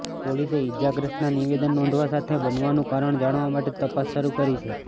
પોલીસે ઇજાગ્રસ્તના નિવેદન નોંધવા સાથે બનાવનું કારણ જાણવા માટે તપાસ શરૂ કરી છે